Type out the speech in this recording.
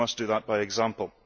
We must do that by example.